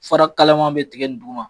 Fara kalaman bɛ tiga in duguma